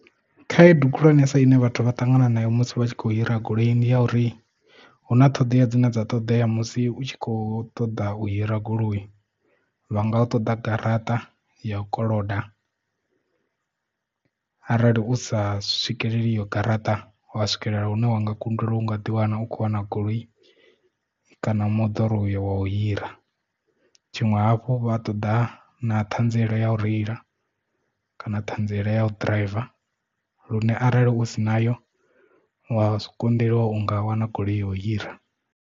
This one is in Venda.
Khaedu khulwanesa ine vhathu vha ṱangana nayo musi vha tshi kho hira goloi ndi ya uri huna ṱhoḓea dzine dza ṱoḓea musi u tshi kho ṱoḓa u hira goloi vha nga u ṱoḓa garaṱa ya u koloda arali u sa swikeleli iyo garaṱa uwa swikelela hune wanga kundelwa u nga ḓi wana u khou wana goloi kana moḓoro uyo wa u hira tshiṅwe hafhu u vha ṱoḓa na thanziela ya u reila kana ṱhanziela ya u driver lune arali u sina yo wa si konḓelwa u nga wana goloi yo hira.